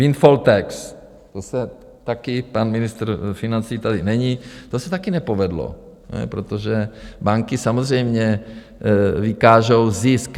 Windfall tax, to se také - pan ministr financí tady není - to se také nepovedlo, protože banky samozřejmě vykážou zisk.